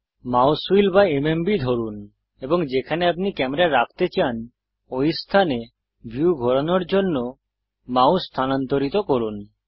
mouse wheel বা MMB ধরুন এবং যেখানে আপনি ক্যামেরা রাখতে চান ঐ স্থানে ভিউ ঘোরানোর জন্য মাউস স্থানান্তরিত করুন